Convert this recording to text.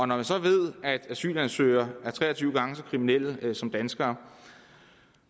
når man så ved at asylansøgere er tre og tyve gange så kriminelle som danskere